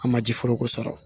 An ma ji foroko sɔrɔ